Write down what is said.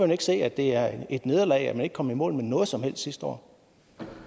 ikke se at det er et nederlag at man ikke kom i mål med noget som helst sidste år